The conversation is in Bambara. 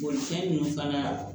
Bolifɛn ninnu fana la